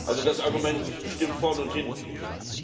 Also das Argument stimmt vorne und hinten nicht.